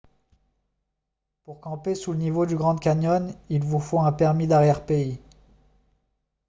pour camper sous le niveau du grand canyon il vous faut un permis d'arrière-pays